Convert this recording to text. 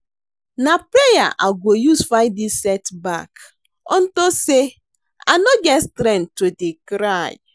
Na prayer I go use fight dis setback unto say I no get strength to dey cry